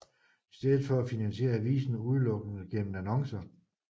I stedet finansieres avisen udelukkende gennem annoncer